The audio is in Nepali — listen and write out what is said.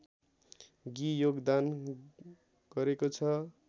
गि योगदान गरेको छ